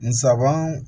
Nsaban